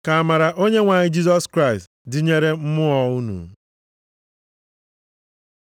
Ka amara Onyenwe anyị Jisọs Kraịst dịnyere mmụọ unu.